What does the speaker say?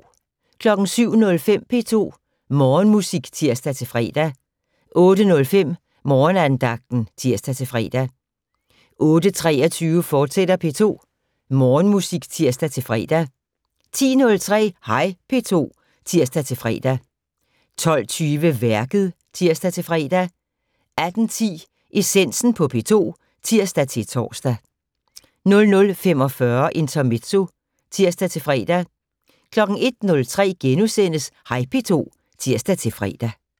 07:05: P2 Morgenmusik (tir-fre) 08:05: Morgenandagten (tir-fre) 08:23: P2 Morgenmusik, fortsat (tir-fre) 10:03: Hej P2 (tir-fre) 12:20: Værket (tir-fre) 18:10: Essensen på P2 (tir-tor) 00:45: Intermezzo (tir-fre) 01:03: Hej P2 *(tir-fre)